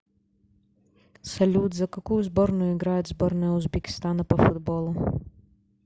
салют за какую сборную играет сборная узбекистана по футболу